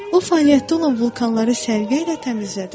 O fəaliyyətdə olan vulkanları səliqə ilə təmizlədi.